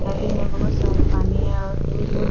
मस्जिद में बहुत सारे पानी है और --